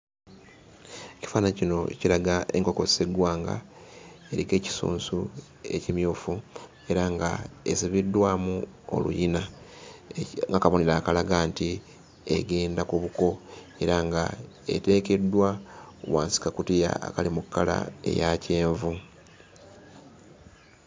Ekifaananyi kino kiraga enkoko sseggwanga eriko ekisunsu ekimyufu era nga esibiddwamu oluyina ng'akabonero akalaga nti egenda ku buko era ng'eteekeddwa wansi ku kakutiya akali mu kkala eya kyenvu.